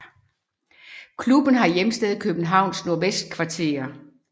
Klubben har hjemsted i Københavns Nordvestkvarter